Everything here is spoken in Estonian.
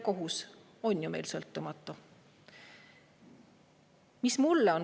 Kohus on meil ju sõltumatu.